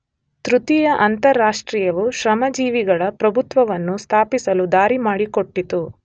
ತೃತೀಯ ಅಂತಾರಾಷ್ಟ್ರೀಯವು ಶ್ರಮಜೀವಿಗಳ ಪ್ರಭುತ್ವವನ್ನು ಸ್ಥಾಪಿಸಲು ದಾರಿ ಮಾಡಿಕೊಟ್ಟಿತು.